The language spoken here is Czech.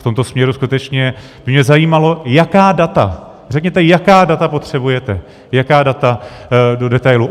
V tomto směru skutečně by mě zajímalo, jaká data, řekněte, jaká data potřebujete, jaká data do detailu.